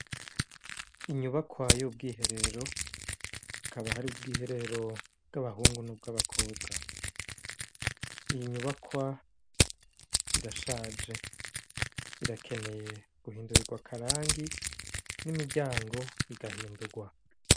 Inyubakwa y'ubwiherero hakaba har'ubwiherero bw'abahungu n'abakobwa iyo nyubakwa irashaje ikeneye guhindurirwa akarangi n'imiryango igahindurwa.